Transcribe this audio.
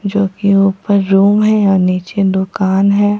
जोकि ऊपर रूम है और नीचे दुकान है।